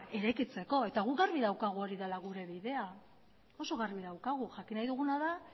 eraikitzeko eta gu argi daukagu hori dela gure bidea oso garbi daukagu jakin nahi duguna da